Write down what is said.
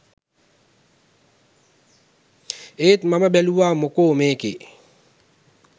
ඒත් මම බැලුවා මොකෝ මේකේ